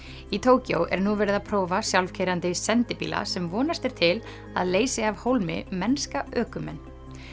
í Tókýó er nú verið að prófa sjálfkeyrandi sendibíla sem vonast er til að leysi af hólmi mennska ökumenn